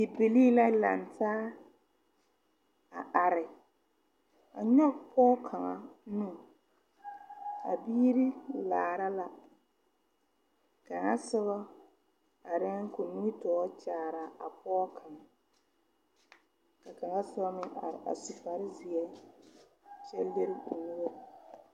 Bibilii la langtaa a are a nyoge pɔɔ kaŋa nu a biire laara la kaŋa sobɔ areɛɛŋ koo nimitoore kyaaraa a pɔɔ kaŋ ka kaŋa sobɔ meŋ are a su kparezeɛ kyɛ lire o nuure.